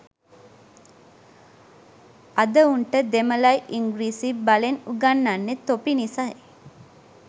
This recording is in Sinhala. අද උන්ට දෙමළයි ඉංග්‍රීසියි බලෙන් උගන්නන්නෙ තොපි නිසයි